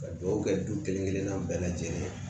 Ka dugawu kɛ du kelen kelen bɛɛ lajɛlen ye